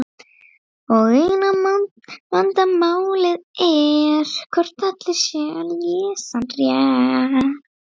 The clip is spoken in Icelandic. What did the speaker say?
Og nú er Þorgeir allur.